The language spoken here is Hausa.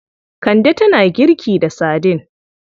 Kande tana girki da saidin.